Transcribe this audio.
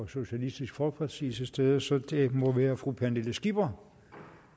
socialistisk folkeparti til stede så det må være fru pernille skipper